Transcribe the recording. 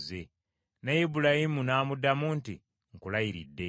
Ne Ibulayimu n’amuddamu nti, “Nkulayiridde.”